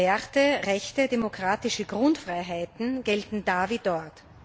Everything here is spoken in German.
Werte, Rechte, demokratische Grundfreiheiten gelten da wie dort.